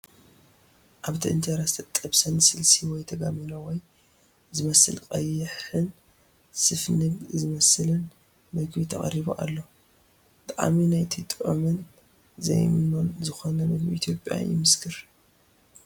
ኣብቲ እንጀራ ንዝተጠብሰ ስልሲ ወይ ተጋሚኖ ወይ ... ዝመስል ቀይሕን ሰፍነግ ዝመስልን ምግቢ ተቐሪቡ ኣሎ። ጣዕሚ ናይቲ ጥዑምን ዘይምኖን ዝኾነ ምግቢ ኢትዮጵያ ይመስክር።